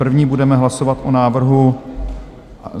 První budeme hlasovat o návrhu...